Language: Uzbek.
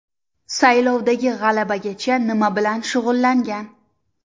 Saylovdagi g‘alabagacha nima bilan shug‘ullangan?